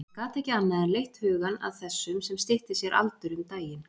Hann gat ekki annað en leitt hugann að þessum sem stytti sér aldur um daginn.